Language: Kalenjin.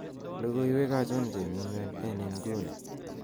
logoiwek achon chemi nywen en inguni